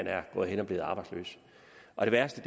er gået hen og blevet arbejdsløs og det værste